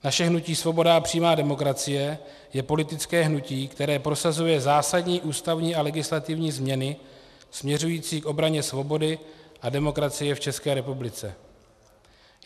Naše hnutí Svoboda a přímá demokracie je politické hnutí, které prosazuje zásadní ústavní a legislativní změny směřující k obraně svobody a demokracie v České republice.